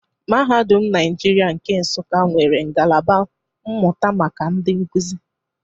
Mahadum Naijiria nke Nsuka nwere ngalaba mmụta maka ndị nkuzi.